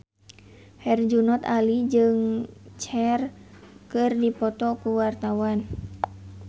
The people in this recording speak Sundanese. Herjunot Ali jeung Cher keur dipoto ku wartawan